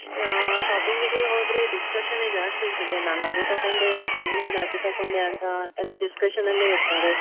ಅಹ್ shopping ಗೆ ಹೋದ್ರೆ discussion ನೇ ಜಾಸ್ತಿ ಇರ್ತದೆ. ನಾನು ಅದು ತಗೊಂಡೆ ನೀ~ ನೀನು ಅದು ತಗೊಂಡೆ ಅಂತಾ ಎಲ್ಲಾ discussion ನ್ನಲ್ಲೇ ಇರ್ತಾರೆ.